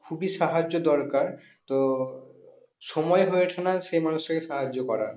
খুবই সাহায্য দরকার তো সময়ই হয়ে ওঠে না সেই মানুষটাকে সাহায্য করার